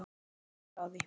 Já, ég er ekki frá því.